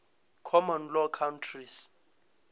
common law countries